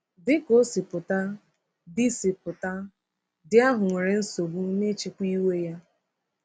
Dị ka o si pụta, di si pụta, di ahụ nwere nsogbu n’ịchịkwa iwe ya.